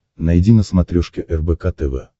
найди на смотрешке рбк тв